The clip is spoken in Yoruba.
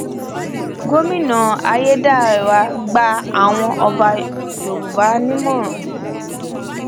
gomina ayédáiwa gba àwọn ọba yorùbá nímọràn